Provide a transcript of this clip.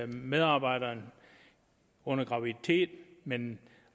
medarbejderen under graviditet men